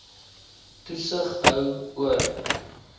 toesig hou oor